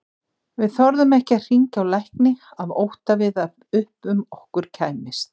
Við þorðum ekki að hringja á lækni af ótta við að upp um okkur kæmist.